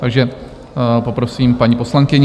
Takže poprosím paní poslankyni.